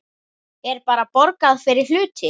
Er bara borgað fyrir hluti?